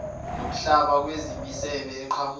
nokuhlaba kwemisebe eqhamuka